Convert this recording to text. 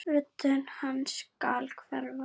Rödd hans skal hverfa.